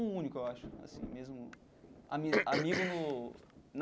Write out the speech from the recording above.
O único, eu acho assim mesmo ami amigo no na.